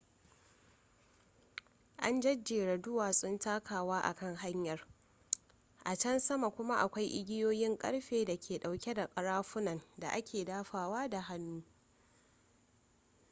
an jejjera duwatsun takawa a kan hanyar a can sama kuma akwai igiyoyin karfe da ke dauke da karafunan da ake dafawa da hannu